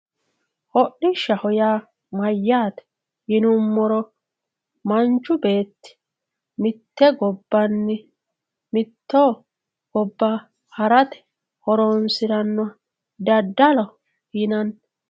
hodhishshaho yaa mayyaate yinummoro manchu beetti mitte gobbanni mitte gobba harate horoonsirannoha daddaloho yinanni.